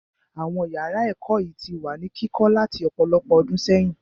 Àwọn yàrá ẹ̀kọ́ yìí ti wà ní kíkọ́ láti ọ̀pọ̀lọpọ̀ ọdún sẹ́yìn.